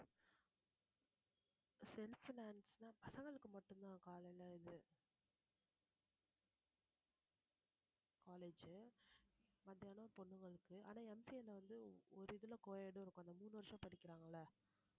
self finance லாம் பசங்களுக்கு மட்டும்தான் காலையில இது college மத்தியானம் பொண்ணுங்களுக்கு ஆனா MCA ல வந்து ஒரு இதுல co-ed இருக்கும் அந்த மூணு வருஷம் படிக்கிறாங்க இல்ல